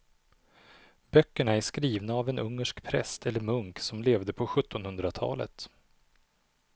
Böckerna är skrivna av en ungersk präst eller munk som levde på sjuttonhundratalet.